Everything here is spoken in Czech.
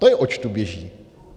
To je, oč tu běží.